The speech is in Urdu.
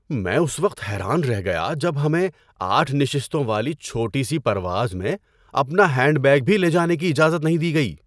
میں اس وقت حیران رہ گیا جب ہمیں آٹھ نشستوں والی چھوٹی سی پرواز میں اپنا ہینڈ بیگ بھی لے جانے کی اجازت نہیں دی گئی۔